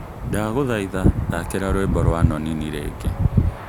Ndagũthaitha thakira rwĩmbo rwa nonini rĩngĩ.